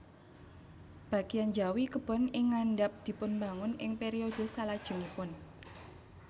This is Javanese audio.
Bagéyan njawi kebon ing ngandhap dipunbangun ing periode salajengipun